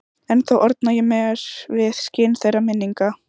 Ennþá orna ég mér við skin þeirra minninga.